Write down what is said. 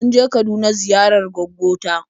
Mun je Kaduna ziyarar gwaggo ta.